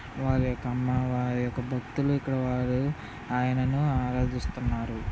వాళ్ళ అమ్మవారికి భక్తులుకలవారి ఆయనను ఆరాధిస్తున్నారు.